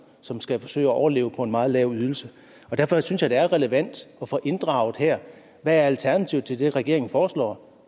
som skal forsøge at overleve på en meget lav ydelse derfor synes jeg det er relevant at få inddraget hvad alternativet til det regeringen foreslår